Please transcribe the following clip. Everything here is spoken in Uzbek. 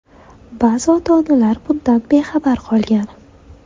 Ba’zi ota-onalar bundan bexabar qolgan.